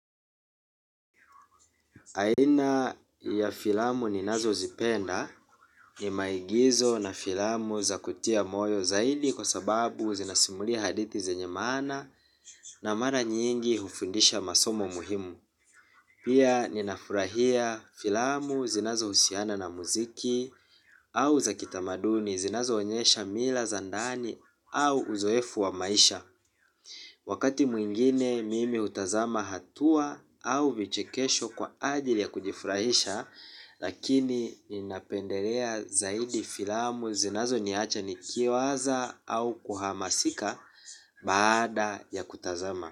Aina ya filamu ninazozipenda ni maigizo na filamu za kutia moyo zaidi kwa sababu zinasimulia hadithi zenye maana na mara nyingi hufundisha masomo muhimu. Pia ninafurahia filamu zinazohusiana na muziki au za kitamaduni zinazoonyesha mila za ndani au uzoefu wa maisha. Wakati mwingine mimi hutazama hatua au vichekesho kwa ajili ya kujifurahisha lakini ninapendelea zaidi filamu zinazoniacha nikiwaza au kuhamasika baada ya kutazama.